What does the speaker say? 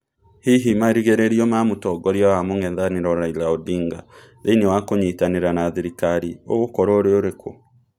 Hihi marigĩrĩrio ma mũtongoria wa mũng'ethanĩro Raila Odinga thĩĩnĩ wa kũnyitanira na thirikari ũgũkorwo ũrĩ ũrĩkũ?